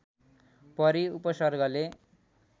परि उपसर्गले